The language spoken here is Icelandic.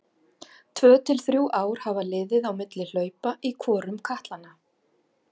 Tvö til þrjú ár hafa liðið á milli hlaupa í hvorum katlanna.